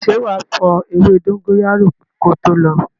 Ṣé wá fo ewé dóngóyárò ko tó lo?